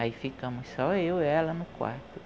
Aí ficamos só eu e ela no quarto.